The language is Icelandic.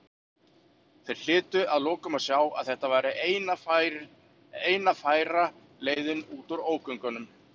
Þeir hlytu að lokum að sjá að þetta væri eina færa leiðin út úr ógöngunum.